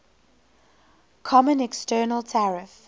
common external tariff